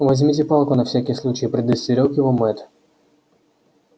возьмите палку на всякий случай предостерёг его мэтт